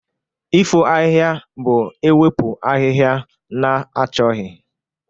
Ifo ahihia bụ ewepụ ahịhịa na-achọghị.